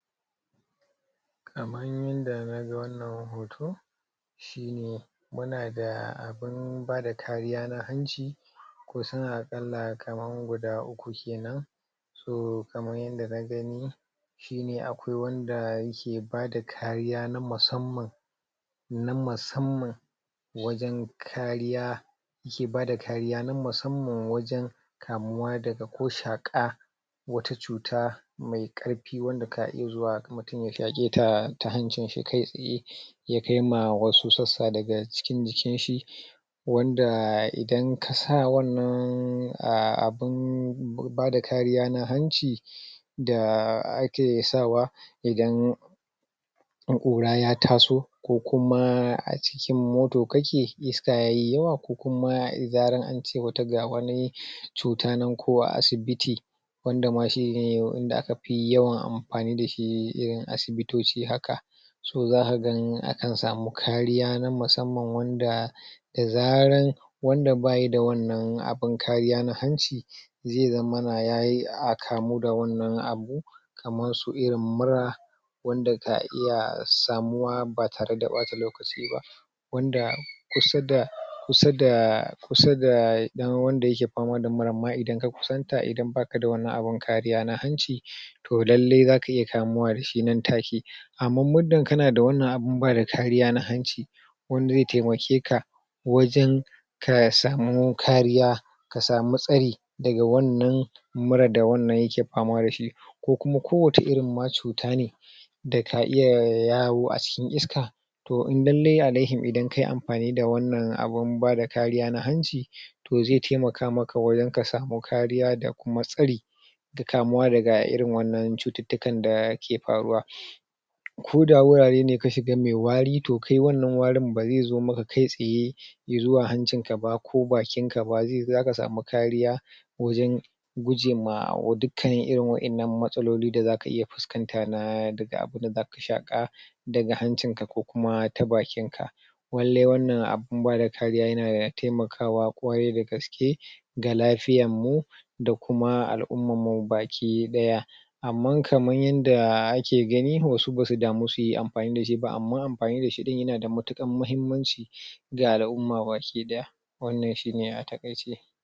kaman yanda naga wannan hoto shine muna da abun bada kariya na hanci ko suna kala kaman guda uku kenan toh kaman yanda nagani shine akwai wanda yake bada kariya na musamman na musamman wajen kariya ke bada kariya na musamman wajen kamuwa daga ko shaka wata cuta mai karfi wanda ka iya zuwa mutum zai iya zuwa ya shake ta ta hanci kai tsaye ya kai ma wasu sassa daga cikin jikin shi wanda idan kasa wannan abun bada kariya na hanci da ake sawa idan kura ya taso ko kuma a cikin moto kake iska yayi yawa ko kuma da zaran ance wata ga wani cuta na ko a asibiti wanda ma shine inda aka yawan amfani dashi irin asibitoci haka toh zaka ga akan samu kariya na musamman wanda da zaran wanda bayida wannan abun kariya na hanci zai zammana ya kamu da wannan abu kaman su irin mura wanda ka iya samuwa ba tare da ɓata lokaci ba wanda kusa da kusa da kusa da wanda ke fama da muran ma idan ka kusanta idan baka da wannan abun kariya na hanci toh lallai zaka iya kamuwa dashi nan take amma muddun kana wannan abubuwa na kariyan hanci wanda zai taimake ka wajen kasamu kariya kasamu tsari daga wannan mura da wannan yake fama dashi ko kuma ko wata irin ma cuta ne da ka iya yawo a cikin iska toh in lallai alayhim kayi amfani da wannan abun bada kariya na hanci toh zai taimaka maka wajen kasamu kariya da kuma tsari daga kamuwa daga wannan cututtukan dake faruwa ko da wurare ka shiga mai wari toh kai wannan warin bazai zo maka kai tsaye zuwa hanci ka ba ko bakin ka ba zaka samu kariya wajen guje ma dukkan irin matsaloli da zaka iya fuskanta na da abun da zaka shaka daga hancin ka ko kuma ta bakin ka lallai wannan abun bada kariya yana taimakawa ƙwarai da gaske ga lafiyan mu da kuma al'umman mu baki daya amma kaman yanda ake gani wasu basu damu suyi amfani dashi ba amma amfani dashi din yana da matukar mahimmanci ga al'umma baki daya wannan shine a takaice